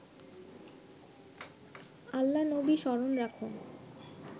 আল্লা-নবী স্মরণ রাখ